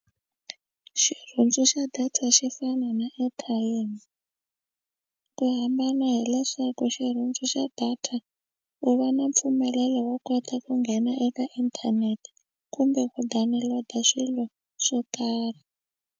Xirhundzu xa data xi fana na airtime ku hambana hileswaku xirhundzu xa data u va na mpfumelelo wo kota ku nghena eka inthanete kumbe ku download swilo swo karhi.